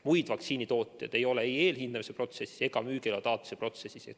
Muid vaktsiinitooteid ei ole ei eelhindamise protsessis ega müügiloa taotluse protsessis.